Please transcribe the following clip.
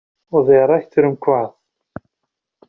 Og þegar rætt er um hvað?